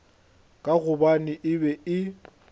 ka gobane e be e